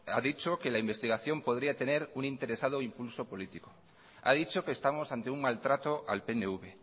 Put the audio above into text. ha dicho que la investigación podría tener un interesado impulso político ha dicho que estamos ante un maltrato al pnv